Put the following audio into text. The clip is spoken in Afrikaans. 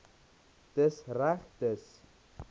dis reg dis